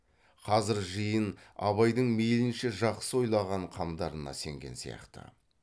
қазір жиын абайдың мейлінше жақсы ойлаған қамдарына сенген сияқты